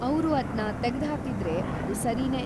ಅವ್ರು ಅದ್ನ ತೆಗ್ದ್‌ಹಾಕಿದ್ರೆ ಅದು ಸರೀನೇ.